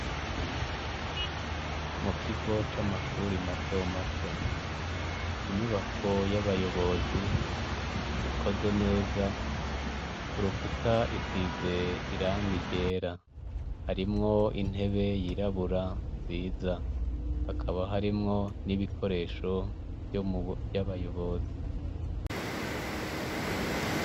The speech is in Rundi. Mukigo c'amashure matomato inyubako y'abayobozi ikoze neza kurukuta isize irangi ryera. Harimwo intebe yirabura nziza. Hakaba harimwo n'ibikoresho vyabayobozi.